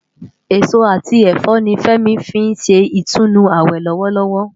Esó ati ẹfọ ni Femi fin ṣé itúnú áwè lòwòlòwò